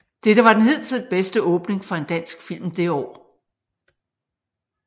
Dette var den hidtil bedste åbning for en dansk film det år